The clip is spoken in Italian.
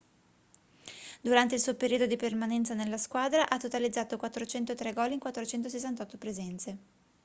durante il suo periodo di permanenza nella squadra ha totalizzato 403 gol in 468 presenze